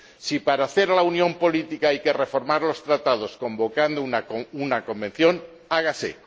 Si para hacer la Unión política hay que reformar los Tratados convocando una convención, hágase.